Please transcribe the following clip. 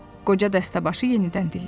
Qoca dəstəbaşı yenidən dilləndi.